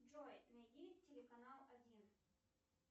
джой найди телеканал один